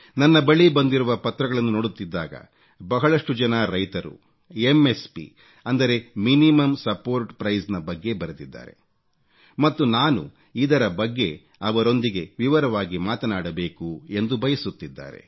ನನ್ನ ಬಳಿ ಬಂದಿರುವ ಪತ್ರಗಳನ್ನು ನೋಡುತ್ತಿದ್ದಾಗ ಬಹಳಷ್ಟು ಜನ ರೈತರು ಎಂಎಸ್ಪಿ ಮಿನಿಮಮ್ ಸಪೋರ್ಟ್ ಪ್ರೈಸ್ ನ ಬಗ್ಗೆ ಬರೆದಿದ್ದಾರೆ ಮತ್ತು ನಾನು ಇದರ ಬಗ್ಗೆ ಅವರೊಂದಿಗೆ ವಿವರವಾಗಿ ಮಾತನಾಡಬೇಕು ಎಂದು ಬಯಸುತ್ತಿದ್ದಾರೆ